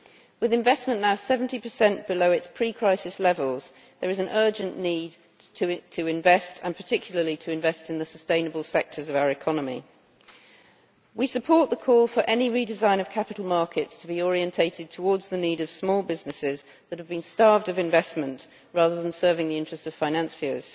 With investment now 70 below its pre crisis levels, there is an urgent need to invest and particularly to invest in the sustainable sectors of our economy. We support the call for any redesign of capital markets to be orientated towards the needs of small businesses that have been starved of investment, rather than serving the interest of financiers.